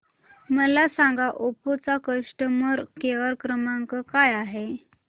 मला सांगा ओप्पो चा कस्टमर केअर क्रमांक काय आहे